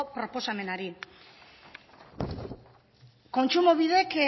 proposamenari kontsumobidek